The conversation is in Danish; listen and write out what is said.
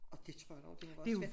Og dét tror jeg da også det være svært